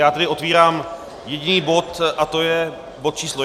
Já tedy otevírám jediný bod a to je bod číslo